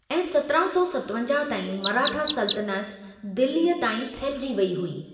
ऐं सत्रहं सौ सतवंजाहु ताईं मराठा सल्तनति दिल्लीअ ताईं फहिलिजी वेई हुई ।